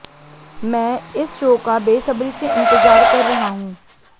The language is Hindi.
मैं इस शो का बेसब्री से इंतजार कर रहा हूं